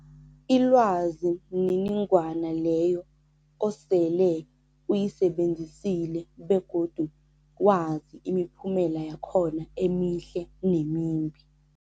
Ilwazi mniningwana leyo osele uyisebenzisile begodu wazi imiphumela yakhona emihle nemimbi.